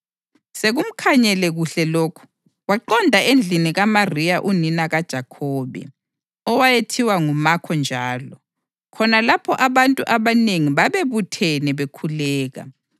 Sekumkhanyele kuhle lokhu, waqonda endlini kaMariya unina kaJohane, owayethiwa nguMakho njalo, khona lapho abantu abanengi babebuthene bekhuleka.